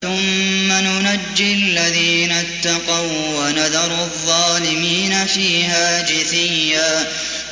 ثُمَّ نُنَجِّي الَّذِينَ اتَّقَوا وَّنَذَرُ الظَّالِمِينَ فِيهَا جِثِيًّا